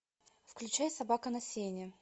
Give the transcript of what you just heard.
включай собака на сене